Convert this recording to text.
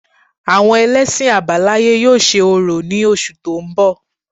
Àwọn ẹlẹ́sìn àbáláyé yóò ṣe orò ní oṣù tó ń bọ̀